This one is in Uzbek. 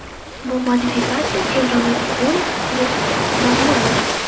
Bu modifikatsiya Chevrolet Onix Plus nomini oldi.